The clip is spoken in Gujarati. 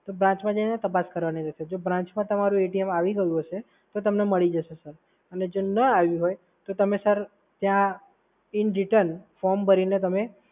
તો branch માં જઈને તપાસ કરવાની રહેશે. જો branch માં તમારું આઈ ગયું હશે તો તમને મળી જશે સર. અને જો ના આયુ હોય તો તમે સર ત્યાં in detail form ભરીને તમે